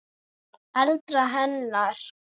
eldra hennar.